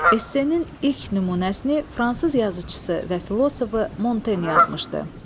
Essenin ilk nümunəsini fransız yazıçısı və filosofu Monten yazmışdı.